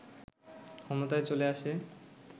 ক্ষমতায় চলে আসে